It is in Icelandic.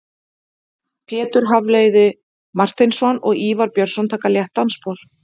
Pétur Hafliði Marteinsson og Ívar Björnsson taka létt dansspor.